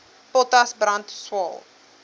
potas brand swael